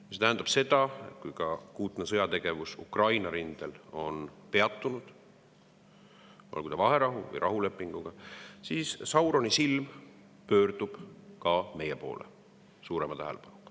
See tähendab seda, et kui akuutne sõjategevus Ukraina rindel on peatunud, olgu vaherahu või rahulepinguga, siis Sauroni silm pöördub suurema tähelepanuga meie poole.